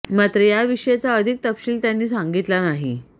मात्र या विषयीचा अधिक तपशील त्यांनी सांगितला नाही